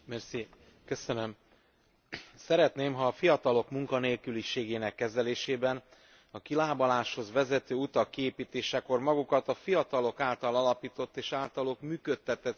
Szeretném, ha a fiatalok munkanélküliségének kezelésében a kilábaláshoz vezető utak kiépítésekor magukat a fiatalok által alapított és általuk működtetett szervezeteket is mozgósítanánk.